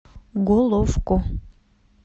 головко